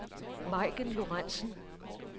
Maiken Lorenzen